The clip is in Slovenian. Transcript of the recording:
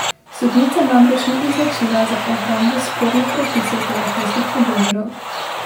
Sodnica namreč ni izločila za obrambo spornih prepisov telefonskih pogovorov.